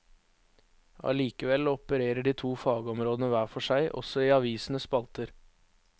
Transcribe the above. Allikevel opererer de to fagområdene hver for seg, også i avisenes spalter.